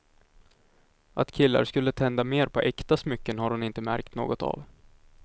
Att killar skulle tända mer på äkta smycken har hon inte märkt något av.